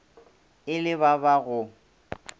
e le ba ba go